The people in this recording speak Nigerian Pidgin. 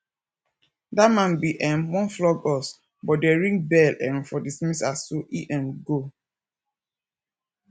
dat man bin um wan flog us but dey ring bell um for dismissal so he um go